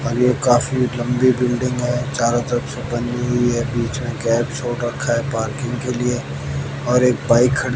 काफी लंबी बिल्डिंग है चारों तरफ से बनी हुई है बीच में गैप छोड़ रखा है पार्किंग के लिए और एक बाइक खड़ी--